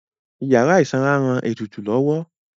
Ìyára ìsanra ń ran ètùtù lọ́wọ́